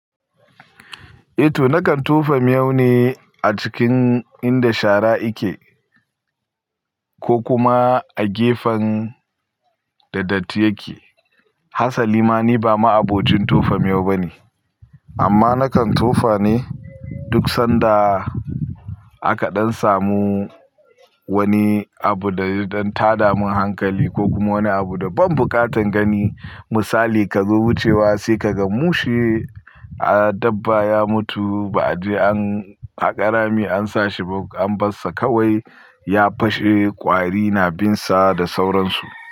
Eh to nakan tofa miyau ne a cikin inda shara ike ko kuma a gefen da datti yake. Hasali ma ni ba ma'abocin tofa miyau bane. Amma nakan tofa ne duk sanda aka ɗan samu wani abu da ya ɗan tada min hankali ko kuma wani abu da ban buƙatan gani. Misali ka zo wucewa sai ka ga mushe a dabba ya mutu ba a je an haƙa rami an sa shi ba an bar sa kawai ya fashe ƙwari na bin sa da sauransu.